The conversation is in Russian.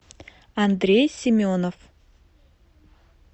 андрей семенов